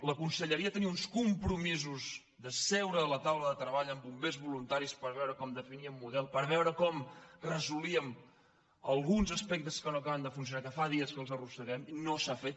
la conselleria tenia uns compromisos de seure a la taula de treball amb bombers voluntaris per veure com definíem el model per veure com resolíem alguns dels aspectes que no acaben de funcionar que fa dies que els arrosseguem i no s’ha fet